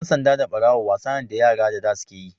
Ɗan sanda da Ɓarawo wasa ne da da yara suke yi.